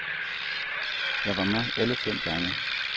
Jeg var med alle fem gange.